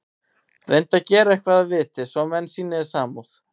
Reyndu að gera eitthvað að viti, svo menn sýni þér samúð.